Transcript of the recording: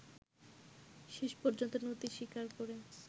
শেষ পর্যন্ত নতি স্বীকার করে